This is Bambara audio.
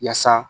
Yaasa